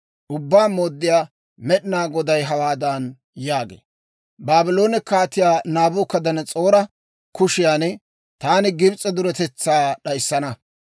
« ‹Ubbaa Mooddiyaa Med'inaa Goday hawaadan yaagee; «Baabloone Kaatiyaa Naabukadanas'oora kushiyan taani Gibs'e duretetsaa d'ayissana.